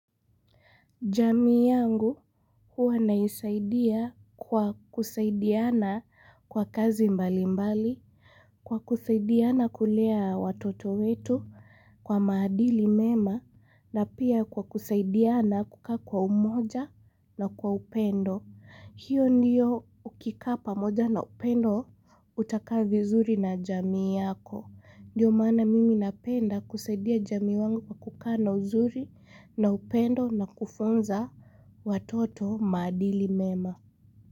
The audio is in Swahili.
Jamii yangu huwa naisaidia kwa kusaidiana kwa kazi mbali mbali, kwa kusaidiana kulea watoto wetu kwa madili mema na pia kwa kusaidiana kukaa kwa umoja na kwa upendo. Hiyo ndiyo ukikaa pamoja na upendo utakaa vizuri na jamii yako. Ndiyo maana mimi napenda kusaidia jamii wangu kukana uzuri na upendo na kufunza watoto madili mema.